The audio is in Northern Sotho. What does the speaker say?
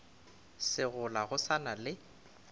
segola go sa na le